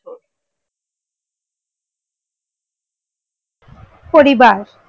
পরিবার